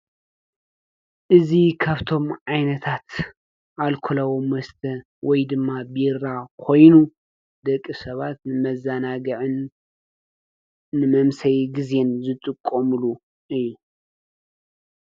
እዙ ኻብቶም ኣይነታት ኣልኮለዎም ወስተ ወይ ድማ ቤራ ኾይኑ ደቂ ሰባት ንመዛናግዕን ንመምሰይ ጊዜን ዘጥቆሙሉ እዩ።